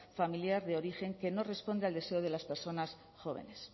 familiar de origen que no responde al deseo de las personas jóvenes